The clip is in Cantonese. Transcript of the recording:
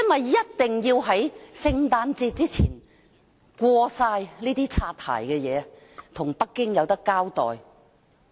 他一定要在聖誕節前全部通過這些"擦鞋"修訂，以向北京交代。